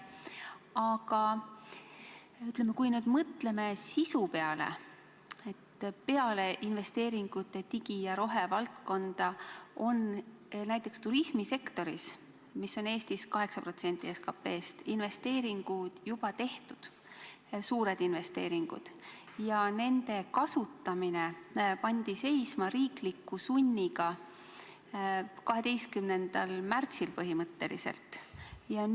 Aga kui mõtleme sisu peale, siis digi- ja rohevaldkonna investeeringute kõrval on näiteks turismisektoris, mis on Eestis 8% SKT-st, investeeringud juba tehtud – suured investeeringud – ja nende kasutamine pandi riikliku sunniga 12. märtsil põhimõtteliselt seisma.